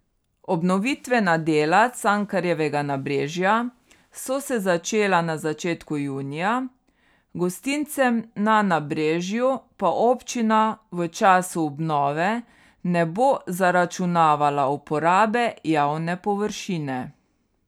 Obnovitvena dela Cankarjevega nabrežja so se začela na začetku junija, gostincem na nabrežju pa občina v času obnove ne bo zaračunavala uporabe javne površine.